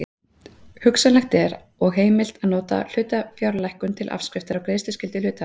Hugsanlegt er og heimilt að nota hlutafjárlækkun til afskriftar á greiðsluskyldu hluthafa.